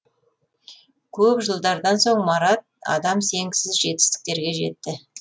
көп жылдардан соң марат адам сенгісіз жетістіктерге жетті